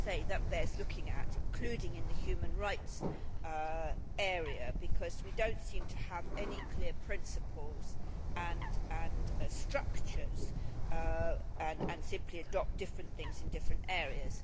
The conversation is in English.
As I say, that bears looking at, including in the human rights area, because we do not seem to have any clear principles and structures and simply adopt different things in different areas.